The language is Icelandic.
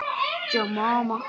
Jú, og meðan ég man.